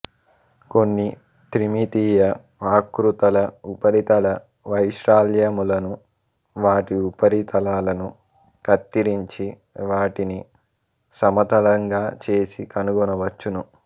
కొన్ని త్రిమితీయ ఆకృతుల ఉపరితల వైశాల్యములను వాటి ఉపరితలాలను కత్తిరించి వాటిని సమతలంగా చేసి కనుగొనవచ్చును